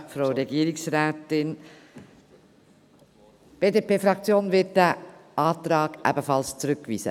Die BDP-Fraktion wird diesen Antrag ebenfalls zurückweisen.